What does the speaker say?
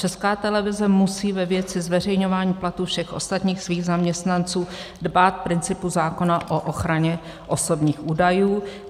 Česká televize musí ve věci zveřejňování platů všech ostatních svých zaměstnanců dbát principu zákona o ochraně osobních údajů.